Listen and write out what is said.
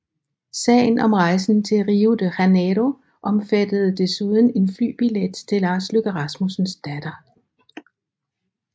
Sagen om rejsen til Rio de Janeiro omfattede desuden en flybillet til Lars Løkke Rasmussens datter